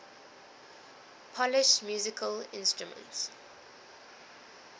polish musical instruments